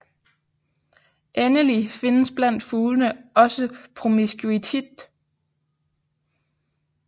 Endelig findes blandt fuglene også promiskuitet